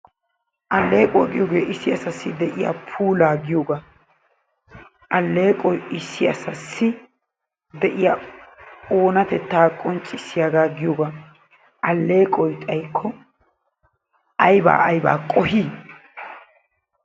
Allequwaa giyoogee issi asaasi de'iyaa puulaa giyoogaa. Alleqoy issi asassi de'iyaa oonatettaa qonccisiyagaa giyooga. Alleqoy xaayiko aybaa aybaa qohii?